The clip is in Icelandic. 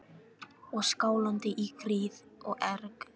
Og skálaði í gríð og erg.